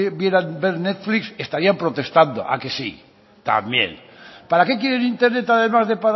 pudieran ver netflix estarían protestando a que sí también para qué quieren internet además de